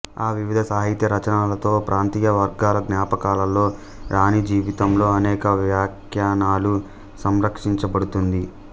ఈ వివిధ సాహిత్య రచనలతో ప్రాంతీయ వర్గాల జ్ఞాపకాలలో రాణి జీవితంలో అనేక వ్యాఖ్యానాలు సంరక్షించబడుతుంది